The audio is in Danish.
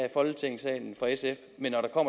i folketingssalen men når